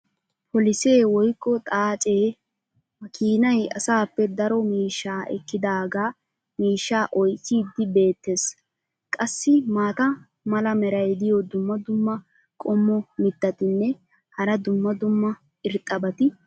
polisee woykko xaacee makiinay asaappe daro miishshaa ekkidaagaa miishshaa oychchiidi beetees. qassi maata mala meray diyo dumma dumma qommo mitattinne hara dumma dumma irxxabati de'oosona.